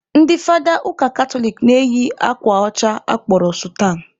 Ndị fada ụka katoliki na-eyi akwa ọcha a kpọrọ sutan